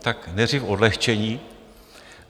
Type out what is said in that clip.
Tak nejdřív odlehčení.